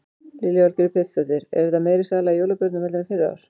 Lillý Valgerður Pétursdóttir: Er þetta meiri sala í jólabjórnum heldur en fyrri ár?